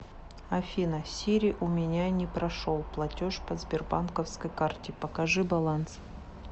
афина сири у меня не прошел платеж по сбербанковской карте покажи баланс